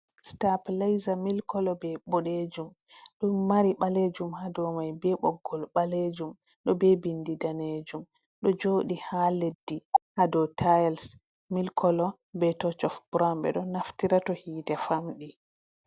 Stap leiza milkolo be boɗejum ɗum mari ɓalejum ha dow mai be ɓoggol ɓalejum, do be bindi danejum ɗo jodi ha leddi ha do tiles milkolo be tosh of brawn ɓe ɗo naftira to hite famɗi.